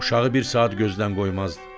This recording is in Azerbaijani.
Uşağı bir saat gözdən qoymazdı.